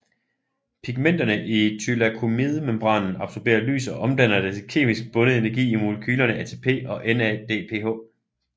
Pigmenterne i thylakoidemembranen absorberer lys og omdanner det til kemisk bundet energi i molekylerne ATP og NADPH